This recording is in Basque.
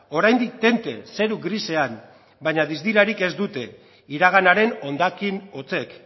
oraindik tente zeru grisean baina distirarik ez dute iraganaren hondakin hotzek